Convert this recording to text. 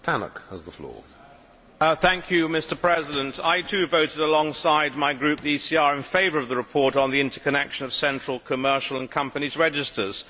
Mr President, I too voted alongside my group, the ECR, in favour of the report on the interconnection of central, commercial and companies' registers.